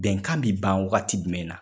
Bɛnkan bi ban wagati jumɛnna